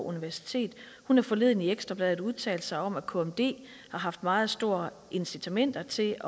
universitet har forleden i ekstra bladet udtalt sig om at kmd har haft meget store incitamenter til